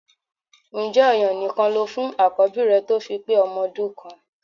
Ǹjẹ́ ọ̀yàn nìkan lo fún àkọ́bí rẹ tó fi pé ọmọ ọdún kan?